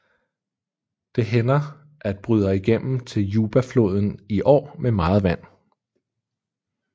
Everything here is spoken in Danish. Det hænder at bryder igennem til Jubafloden i år med meget vand